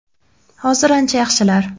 Hozir ancha yaxshilar!